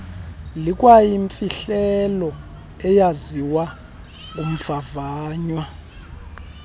likwayimfihlelo eyaziwa ngumvavanywa